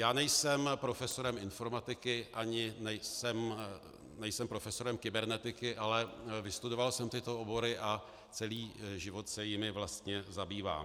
Já nejsem profesorem informatiky ani nejsem profesorem kybernetiky, ale vystudoval jsem tyto obory a celý život se jimi vlastně zabývám.